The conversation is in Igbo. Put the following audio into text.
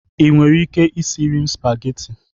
Ị nwere ike isiri m spagheti?